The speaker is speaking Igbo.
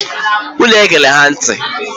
Unu egela ha ntị!